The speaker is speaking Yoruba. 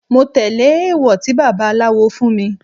Mo tẹ́lẹ̀ èwọ̀ tí baba aláwo fún mi.